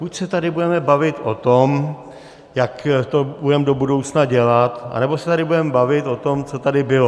Buď se tady budeme bavit o tom, jak to budeme do budoucna dělat, anebo se tady budeme bavit o tom, co tady bylo.